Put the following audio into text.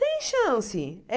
Tem chance. É